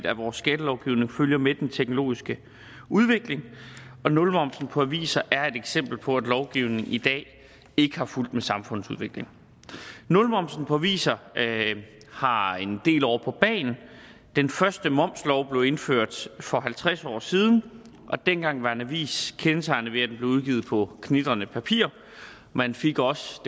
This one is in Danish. at vores skattelovgivning følger med den teknologiske udvikling og nulmoms på aviser er et eksempel på at lovgivningen ikke er fulgt med samfundsudviklingen nulmoms på aviser har en del år på bagen den første momslov blev indført for halvtreds år siden og dengang var en avis kendetegnet ved at den blev udgivet på knitrende papir man fik også